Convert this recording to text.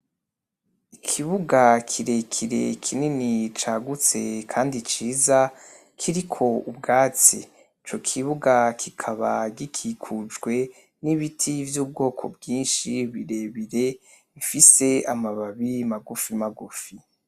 Ikibuga kirekire kinini cagutse kandi ciza kiriko ubwatsi, ico kibuga kikaba gikikujwe n'ibiti vy'ubwoko bwinshi birebire bifise amababi magufi magufi.